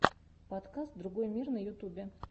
подкаст другой мир на ютубе